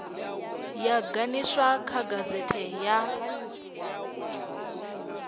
yo ganiswa kha gazete ya